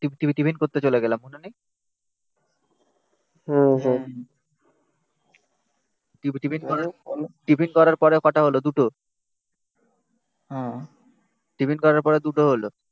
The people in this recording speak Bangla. টিপটিপি টিফিন করতে চলে গেলাম মনে নেই টিফিন করার পরে কটা হলো দুটো টিফিন করার পরে দুটো হলো